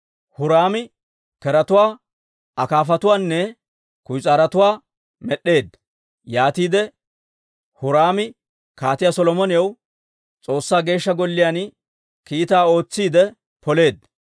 Huraami keretuwaa, akaafatuwaanne kuyis'aarotuwaa med'd'eedda; yaatiide Huraami Kaatiyaa Solomonaw S'oossaa Geeshsha Golliyaan kiitaa ootsiide poleedda.